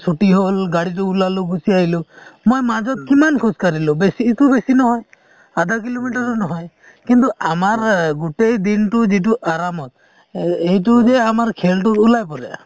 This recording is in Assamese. ছুটী হ'ল গাড়ী দি ওলালো , গুছি আহিলো | মই মাজত কিমান খোজ কাঢ়িলো ? বেছি বেছি নহয় আধা কিলোমিটাৰো নহয় | কিন্তু আমাৰ গোটেই দিনটো যিটো আৰামত এ এইটো যে আমাৰ খেল টো ওলাই পৰে